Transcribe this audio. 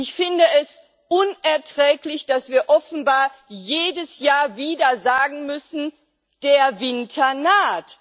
Ich finde es unerträglich, dass wir offenbar jedes Jahr wieder sagen müssen Der Winter naht!